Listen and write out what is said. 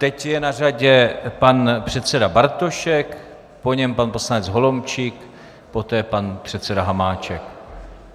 Teď je na řadě pan předseda Bartošek, po něm pan poslanec Holomčík, poté pan předseda Hamáček.